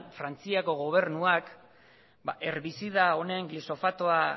frantziako gobernuak herbizida honen glisofatoa